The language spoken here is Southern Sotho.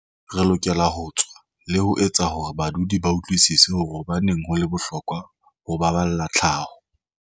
"Re lokela ho tswa le ho etsa hore badudi ba utlwisise hore na hobaneng ho le bohlokwa ho ba balla tlhaho."